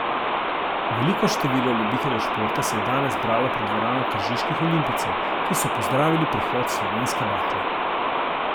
Veliko število ljubiteljev športa se je danes zbralo pred dvorano Tržiških olimpijcev, ki so pozdravili prihod slovenske bakle.